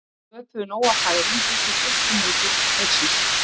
Við sköpuðum nóg af færum fyrstu tuttugu mínútur leiksins.